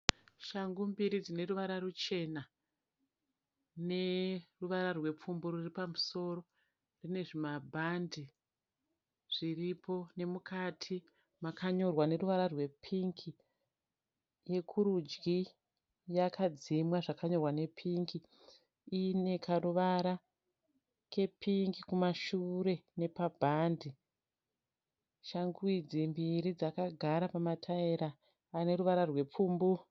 Shangu mbiri dzineruvara ruchena neruvara rwerupfumbu ruripamusoro. Dzinezvimabhande zviripo nemukati makanyorwa neruvara rwepingi. Yekurudyi yakadzima zvakanyorwa nepingi. Ine karuvara kepingi kumashure nepabhande. Shangu idzi mbiri dzakagara pamataira aneruvara rwepfumbu.